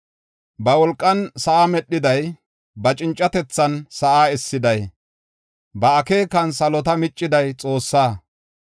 Ba wolqan sa7aa medhiday, ba cincatethan sa7aa essiday, ba akeekan salota micciday, Xoossaa.